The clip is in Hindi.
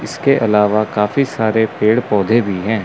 इसके अलावा काफी सारे पेड़ पौधे भी हैं।